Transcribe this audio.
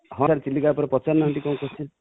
ହଁ ଚିଲିକା ଉପରେ ପଚାରୁ ନାହାନ୍ତି କଣ question